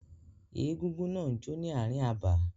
Egúngún náà jó ní ààrin abà.